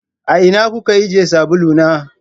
A ina kuka ajiye sabulu na?